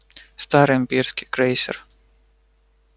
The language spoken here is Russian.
старый имперский крейсер